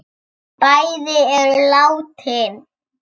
Bæði eru látin.